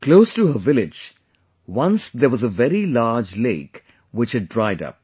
Close to her village, once there was a very large lake which had dried up